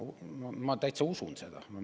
Ma täitsa usun seda.